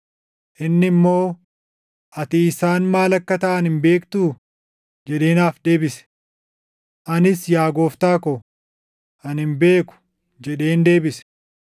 Inni immoo, “Ati isaan maal akka taʼan hin beektuu?” jedhee naaf deebise. Anis, “Yaa gooftaa ko, ani hin beeku” jedheen deebise.